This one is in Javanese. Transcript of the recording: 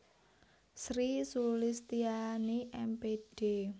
Sri Sulistiani M Pd